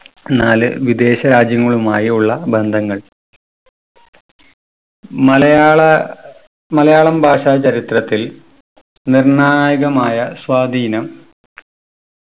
നാല് വിദേശ രാജ്യങ്ങളുമായി ഉള്ള ബന്ധങ്ങൾ മലയാള മലയാളം ഭാഷ ചരിത്രത്തിൽ നിർണായകരമായ സ്വാധീനം